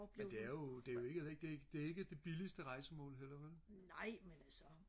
men det er jo det er jo ikke det det er ikke det billigeste rejsemål heller ikke